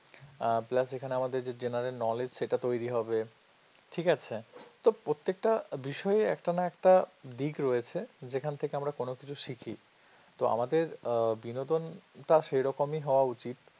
আর plus এখানে আমাদের যে general knowledge সেটা তৈরি হবে ঠিক আছে তো প্রত্যেকটা বিষয় একটা একটা দিক রয়েছে যেখান থেকে আমরা কোনও কিছু শিখি তো আমাদের বিনোদনটা সে রকমই হওয়া উচিত।